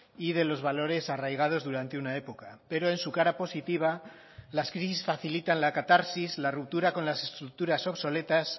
y de los valores arraigados durante una época pero en su cara positiva las crisis facilitan la catarsis la ruptura con las estructuras obsoletas